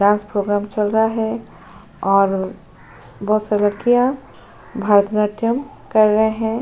Dance programme चल रहा है और बोहोत सारी लड़कियां भरतनाट्यम कर रहे हैं।